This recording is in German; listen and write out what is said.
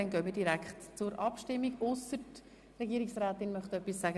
Somit gehen wir zur Abstimmung über, ausser die Regierungsrätin möchte dazu noch etwas sagen?